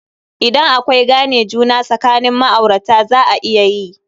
Idan akwai gane juna sakanin ma'aurata, za a iya yi.